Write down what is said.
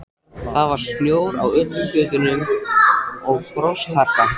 Það var snjór á öllum götum og frostharka.